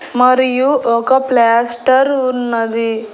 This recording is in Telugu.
మరియు ఒక ప్లాస్టర్ ఉన్నది.